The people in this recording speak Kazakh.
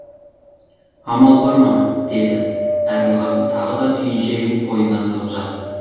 амал бар ма деді әділғазы тағы да түйіншегін қойнына тығып жатып